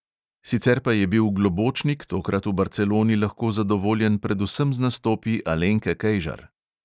Sicer pa je bil globočnik tokrat v barceloni lahko zadovoljen predvsem z nastopi alenke kejžar.